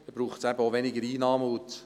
So braucht es auch weniger Einnahmen.